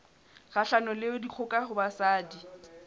kgahlanong le dikgoka ho basadi